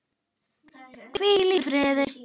Hvíl í fríði.